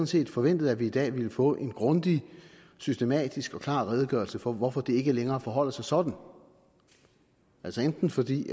set forventet at vi i dag ville få en grundig systematisk og klar redegørelse for hvorfor det ikke længere forholder sig sådan altså enten fordi